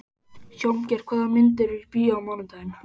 Hjálmgeir, hvaða myndir eru í bíó á mánudaginn?